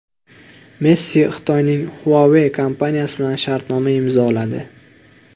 Messi Xitoyning Huawei kompaniyasi bilan shartnoma imzoladi.